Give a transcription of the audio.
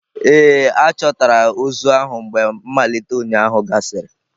Ee, a chọtara ozu ahụ mgbe mmalite ụnyahụ gasịrị